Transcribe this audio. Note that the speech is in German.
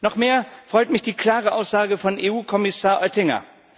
Noch mehr freut mich die klare Aussage von EU Kommissar Oettinger.